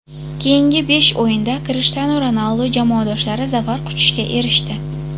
Keyingi besh o‘yinda Krishtianu Ronaldu jamoadoshlari zafar quchishga erishdi.